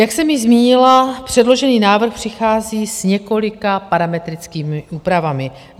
Jak jsem již zmínila, předložený návrh přichází s několika parametrickými úpravami.